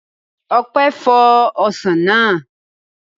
Ọpẹ́ fọ ọsàn náà